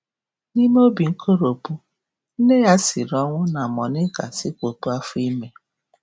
N'ime um obi nkoropụ, um nne ya siri ọnwụ um na Monica sikwopụ afọ ime.